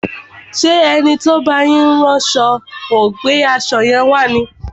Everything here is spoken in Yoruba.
Ṣé ẹni tí ó ń bá yín rán aṣo ò gbé aṣo yẹn wá ni?